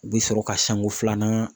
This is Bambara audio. U bɛ sɔrɔ ka sanko filanan